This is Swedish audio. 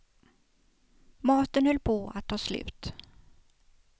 Maten höll på att ta slut.